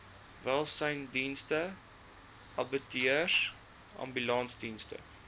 welsynsdienste abattoirs ambulansdienste